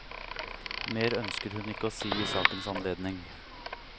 Mer ønsker hun ikke å si i sakens anledning.